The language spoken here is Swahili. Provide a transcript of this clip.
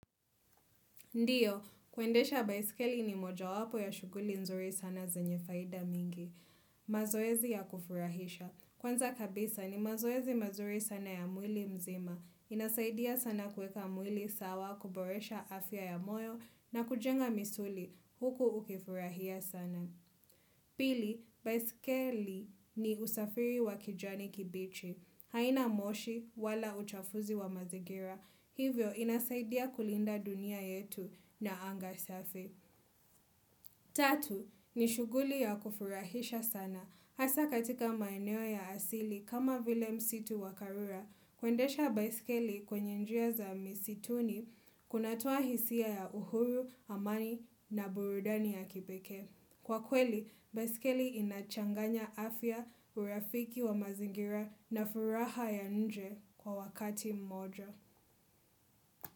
Ndiyo, kuendesha baiskeli ni moja wapo ya shughuli nzuri sana zenye faida nyingi. Mazoezi ya kufurahisha. Kwanza kabisa ni mazoezi mazuri sana ya mwili mzima. Inasaidia sana kueka mwili sawa, kuboresha afya ya moyo na kujenga misuli. Huku ukifurahia sana. Pili, baiskeli ni usafiri wa kijani kibichi. Haina moshi wala uchafuzi wa mazingira. Hivyo inasaidia kulinda dunia yetu na anga safi. Tatu, ni shuguli ya kufurahisha sana. Hasa katika maeneo ya asili kama vile msitu wa Karura, kuendesha baiskeli kwenye njia za misituni kunatoa hisia ya uhuru, amani na burudani ya kipekee. Kwakweli, baiskeli inachanganya afya, urafiki wa mazingira na furaha ya nje kwa wakati mmoja.